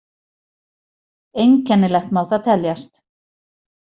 Einkennilegt má það teljast.